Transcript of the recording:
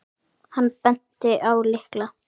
Hann benti á lykla.